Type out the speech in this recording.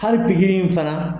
Hali gikiri in fana